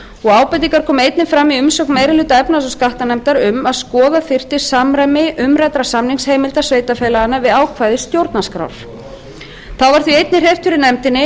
ábendingar komu einnig fram í umsögn meiri hluta efnahags og skattanefndar um að skoða þyrfti samræmi umræddra samningsheimilda sveitarfélaganna við ákvæði stjórnarskrár þá var því einnig hreyft fyrir nefndinni